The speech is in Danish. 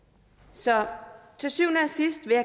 så til syvende og sidst vil